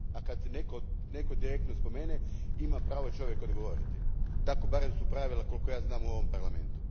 A kad te netko direktno spomene, ima pravo čovjek odgovoriti. Takva su barem pravila, koliko ja znam, u ovom Parlamentu.